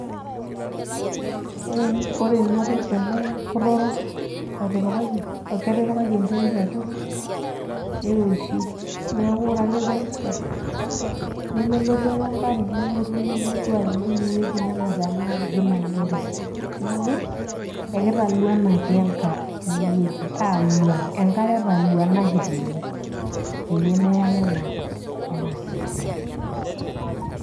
ore ena toki, ele kuta orok, lotipikaki. ketipakaki enetrit atua niroshiu, neeku ore ake pee esha, nemelotu ake enkare nelotu nenap ena aji naanyori. neeku ekitaluanaki enkare, aaluan, enkare etaluanaki. tene peyie meya ake enaaji nanyorri.